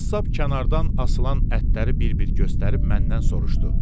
Qəssab kənardan asılan ətləri bir-bir göstərib məndən soruşdu: